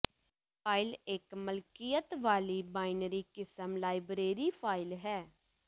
file ਇਕ ਮਲਕੀਅਤ ਵਾਲੀ ਬਾਈਨਰੀ ਕਿਸਮ ਲਾਇਬਰੇਰੀ ਫਾਈਲ ਹੈ